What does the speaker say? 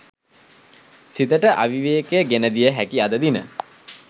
සිතට අවිවේකය ගෙනදිය හැකි අද දින